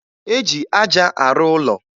E ji aja arụ ụlọ